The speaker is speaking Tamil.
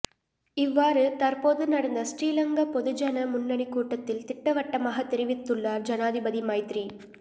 இவ்வாறு தற்போது நடந்த ஸ்ரீ லங்கா பொதுஜன முன்னணி கூட்டத்தில் திட்டவட்டமாக தெரிவித்துள்ளார் ஜனாதிபதி மைத்ரி